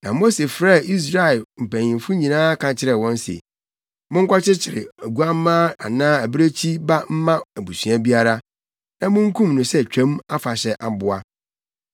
Na Mose frɛɛ Israel mpanyimfo nyinaa ka kyerɛɛ wɔn se, “Monkɔkyekyere oguamma anaa abirekyi ba mma abusua biara, na munkum no sɛ Twam Afahyɛ aboa.